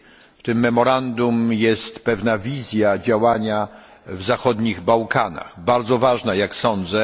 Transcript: W tym memorandum jest pewna wizja działania na Bałkanach Zachodnich, bardzo ważna, jak sądzę.